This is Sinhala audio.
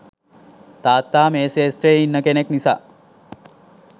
තාත්තා මේ ක්‍ෂේත්‍රයේ ඉන්න කෙනෙක් නිසා